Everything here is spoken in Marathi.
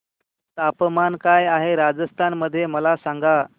तापमान काय आहे राजस्थान मध्ये मला सांगा